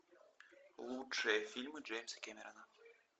лучшие фильмы джеймса кэмерона